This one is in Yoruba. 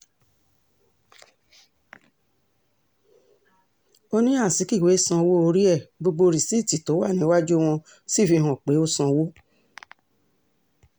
ó ní azikiwe sanwó orí ẹ̀ gbogbo rìsíìtì tó wà níwájú wọ́n sì fi hàn pé ó sanwó